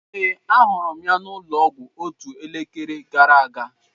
Ee, ahụrụ m ya n'ụlọọgwụ otu elekere gara aga.